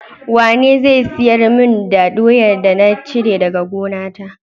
Wane zai siyar mun da doyar da na cire daka gonata?